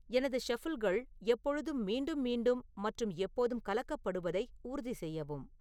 எனது ஷஃபிள்கள் எப்பொழுதும் மீண்டும் மீண்டும் மற்றும் எப்போதும் கலக்கப்படுவதை உறுதிசெய்யவும்